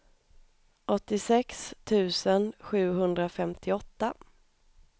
åttiosex tusen sjuhundrafemtioåtta